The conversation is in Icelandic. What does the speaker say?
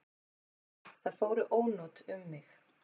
Það fóru ónot um mig.